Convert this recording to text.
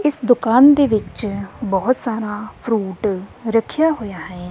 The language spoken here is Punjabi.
ਇਸ ਦੁਕਾਨ ਦੇ ਵਿੱਚ ਬਹੁਤ ਸਾਰਾ ਫਰੂਟ ਰੱਖਿਆ ਹੋਇਆ ਹੈ।